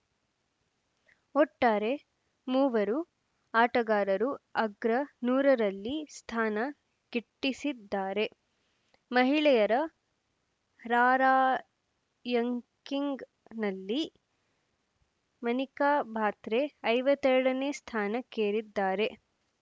ಒಟ್ಟಾರೆ ಮೂವರು ಆಟಗಾರರು ಅಗ್ರ ನೂರರಲ್ಲಿ ಸ್ಥಾನ ಗಿಟ್ಟಿಸಿದ್ದಾರೆ ಮಹಿಳೆಯರ ರಾರ‍ಯಂಕಿಂಗ್‌ನಲ್ಲಿ ಮನಿಕಾ ಬಾತ್ರೆ ಐವತ್ತ್ ಎರಡನೇ ಸ್ಥಾನಕ್ಕೇರಿದ್ದಾರೆ